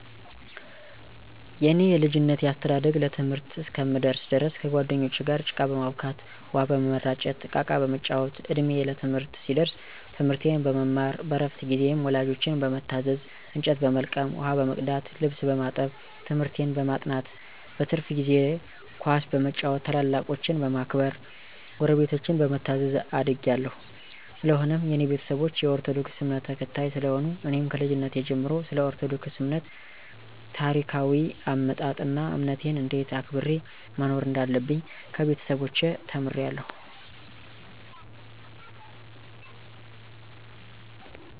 የኔ የልጅነቴ አስተዳደግ ለትምህርት እስከምደርስ ድረስ ከጓደኞቸ ጋር ጭቃ በማቡካት፣ ውሃ በመራጨት፣ እቃቃ በመጫወት፣ እድሜየ ለትምህርት ሲደርስ ትምርቴን በመማር በረፍት ጊዜየም ወላጆቸን በመታዘዝ እንጨት በመልቀም፣ ውሃ በመቅዳት፣ ልብስ በማጠብ፣ ትምህርቴን በማጥናት፣ በትርፍ ጊዜየ ኳስ በመጫወት፣ ታላላቆቸን በማክበር፣ ጉረቤቶቸን በመታዘዝ አድጌ አለሁ። ሰለሆነም የኔ ቤተሰቦች የኦርቶዶክስ እምነትን ተከታይ ስለሆኑ እኔም ከልጅነቴ ጀመሮ ስለኦርቶዶክስ እምነት ታሪካዎይ አመጣጥ አና እምነቴን እንዴት አክብሬ መኖር እንዳለብኝ ከቤተሰቦቸ ተምሬአለሁ።